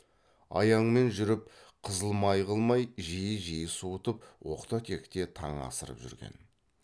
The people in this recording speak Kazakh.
аяңмен жүріп қызыл май қылмай жиі жиі суытып оқта текте таң асырып жүрген